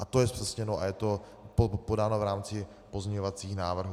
A to je zpřesněno a je to podáno v rámci pozměňovacích návrhů.